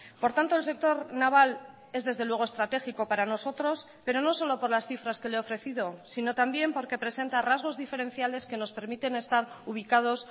por tanto el sector naval es desde luego estratégico para nosotros pero no solo por las cifras que le he ofrecido si no también porque presenta rasgos diferenciales que nos permiten estar ubicados